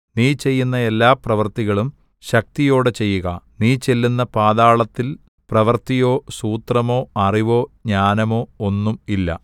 നീ ചെയ്യുന്ന എല്ലാ പ്രവൃത്തികളും ശക്തിയോടെ ചെയ്യുക നീ ചെല്ലുന്ന പാതാളത്തിൽ പ്രവൃത്തിയോ സൂത്രമോ അറിവോ ജ്ഞാനമോ ഒന്നും ഇല്ല